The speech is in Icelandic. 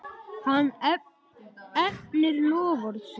Hann efnir loforð sitt.